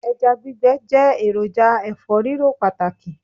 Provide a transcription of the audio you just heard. Ẹja gbígbẹ jẹ́ èròjà ẹ̀fọ́-rírò pàtàkì